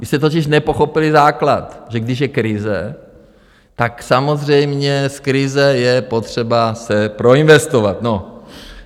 Vy jste totiž nepochopili základ, že když je krize, tak samozřejmě z krize je potřeba se proinvestovat.